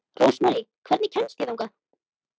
Rósmarý, hvernig kemst ég þangað?